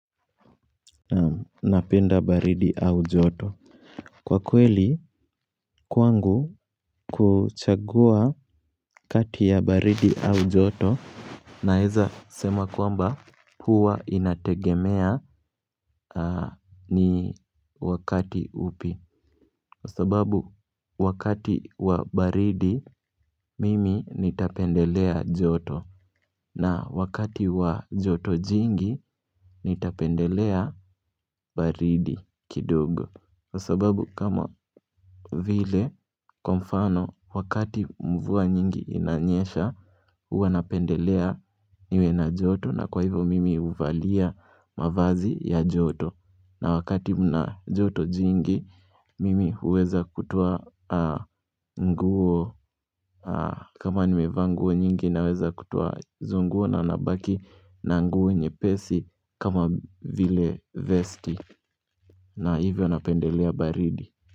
Napenda baridi au joto. Kwa kweli kwangu kuchagua kati ya baridi au joto Naeza sema kwamba huwa inategemea ni wakati upi Kwa sababu wakati wa baridi mimi nitapendelea joto na wakati wa joto jingi nitapendelea baridi kidogo. Kwa sababu kama vile kwa mfano wakati mvua nyingi inanyesha Huwa napendelea niwe na joto na kwa hivyo mimi huvalia mavazi ya joto. Na wakati mna joto jingi mimi huweza kutoa nguo kama nimevaa nguo nyingi naweza kutoa zungu na nabaki na nguo nyepesi kama vile vesti na hivyo napendelea baridi.